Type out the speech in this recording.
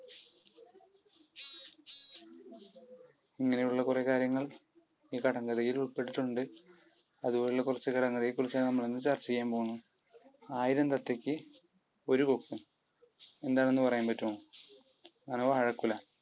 ഇങ്ങനെയുള്ള കുറെ കാര്യങ്ങൾ ഈ കടങ്കഥയിൽ ഉൾപ്പെട്ടിട്ടുണ്ട്. അതുപോലുള്ള കുറച്ചു കടങ്കഥയെക്കുറിച്ചാണ് നമ്മൾ ഇന്ന് ചർച്ച ചെയ്യാൻ പോകുന്നത്. ആയിരം തത്തക്ക് ഒരു തൊപ്പി. എന്താണെന്ന് പറയാൻ പറ്റുമോ? അത് വാഴക്കുല.